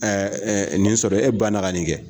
nin sɔrɔ e ba na ka nin kɛ.